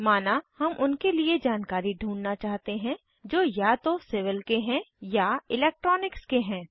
माना हम उनके लिए जानकारी ढूँढना चाहते हैं जो या तो सिविल के हैं या इलेक्ट्रॉनिक्स के हैं